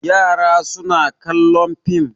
Yara suna kallon fim.